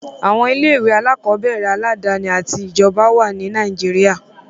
Àwọn ilé-ìwé alákọ̀ọ́bẹ̀rẹ̀ aládàáni àti ti ìjọba wà ní Nàìjíríà.